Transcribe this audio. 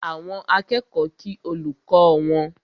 Àwọn akẹ́kọ̀ọ́ kí olùkọ́ wọn